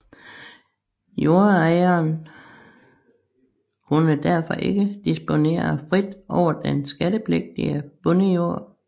Jordejeren kunne derfor ikke disponere frit over den skattepligtige bondejord